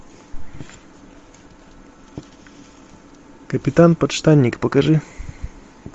капитан подштанник покажи